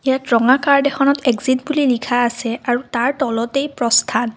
ইয়াত ৰঙা কাৰ্ড এখনত এ্জিত বুলি লিখা আছে আৰু তাৰ তলতেই প্ৰস্থান।